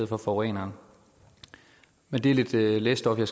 for forureneren men det er lidt læsestof og